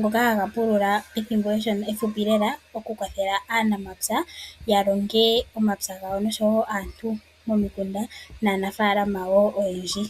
ngoka ha ga pulula ethimbo eshona ano ethimbo ehupi lela, oku kwathela aanamapya ya longe omapya gawo osho woo aantu momikunda naanafaalama woo oyendji.